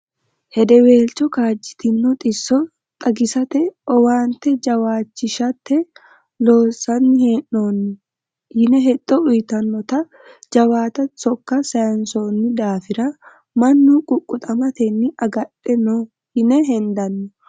Hedewelcho kaajjitino xisso xagisate owaante jawaachishate loonsanni hee'nonni. Yine hexxo uyittanotta jawaatta sokka sayinsonni daafira mannu ququxamatenni agadhano yine hendanni.